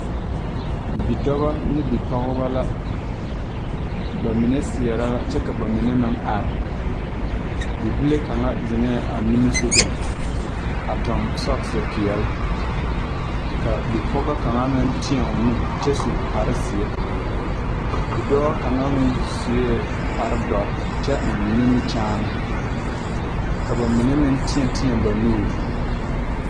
Bidɔbɔ ne bipɔgebɔ la ba mine seɛɛrɛ la kyɛ ka ba mine meŋ are bibile kaŋa zeŋɛɛ a nimisugɔŋ a tuŋ sɔkse peɛle ka bipɔgɔ kaŋa meŋ tēɛ o nu kyɛ su kpare zeɛ bidɔɔ kaŋa meŋ suee kpare dɔre kyɛ eŋ nimikyaane ka ba mine meŋ tēɛ tēɛ ba nuure.